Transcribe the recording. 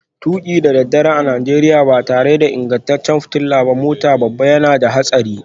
Tuki da daddare a Najeriya ba tare da ingantaccen fitilar mota ba yana da haɗari